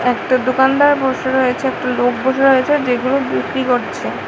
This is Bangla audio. একটা দোকানদার বসে রয়েছে একটা লোক বসে রয়েছে যেগুলো বিক্রি করছে।